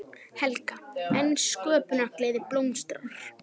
Helga: En sköpunargleðin blómstrar?